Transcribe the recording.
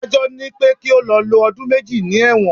Adájọ́ ni pé kí ó lọ lo ọdún méjì ní ẹ̀wọ̀n.